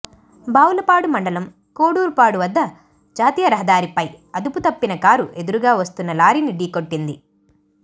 బాపులపాడు మండలం కోడూరుపాడు వద్ద జాతీయ రహదారిపై అదుపు తప్పిన కారు ఎదురుగా వస్తున్న లారీని ఢీకొట్టింది